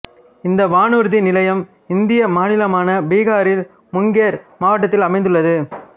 இந்த வானூர்தி நிலையம் இந்திய மாநிலமான பீகாரில் முங்கேர் மாவட்டத்தில் அமைந்துள்ளது